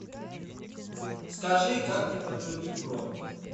скажи как мне подтвердить бронь